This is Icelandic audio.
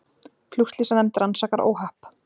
Flugslysanefnd rannsakar óhapp